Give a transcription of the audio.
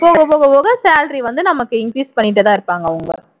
போகப் போகப் போக salary வந்து நமக்கு increase பண்ணிட்டேதான் இருப்பாங்க அவங்க